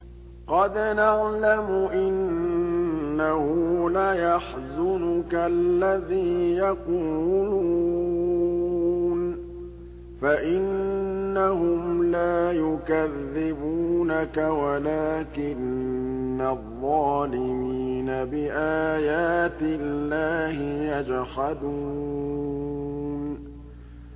قَدْ نَعْلَمُ إِنَّهُ لَيَحْزُنُكَ الَّذِي يَقُولُونَ ۖ فَإِنَّهُمْ لَا يُكَذِّبُونَكَ وَلَٰكِنَّ الظَّالِمِينَ بِآيَاتِ اللَّهِ يَجْحَدُونَ